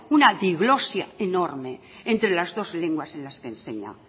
una diglosia enorme entre las dos lenguas en las que enseña